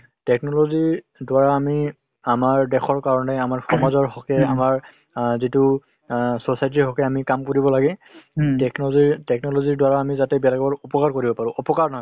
technology ৰ দ্বাৰা আমি আমাৰ দেশৰ কাৰণে আমাৰ সমাজৰ হকে আমাৰ অ যিটো অ society ৰ হকে আমি কাম কৰিব লাগে । technology technology ৰ দ্বাৰা যাতে আমি বেলেগৰ উপকাৰ কৰিব পাৰোঁ অপকাৰ নহয়।